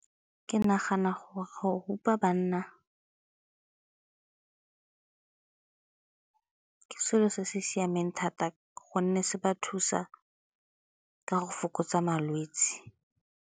Ke nagana gore go rupa banna ke selo se se siameng thata ka gonne se ba thusa ka go fokotsa malwetse.